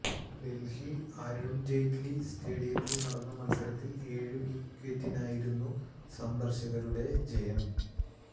ഡല്ഹി അരുണ് ജയ്റ്റ്ലി സ്റ്റേഡിയത്തില് നടന്ന മത്സരത്തില് ഏഴ് വിക്കറ്റിനായിരുന്നു സന്ദര്ശകരുടെ ജയം